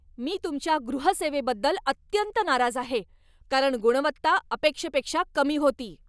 मी तुमच्या गृहसेवेबद्दल अत्यंत नाराज आहे, कारण गुणवत्ता अपेक्षेपेक्षा कमी होती.